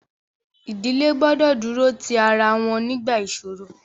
Ìdílé gbọdọ̀ dúró ti ara wọn nígbà ìṣoro.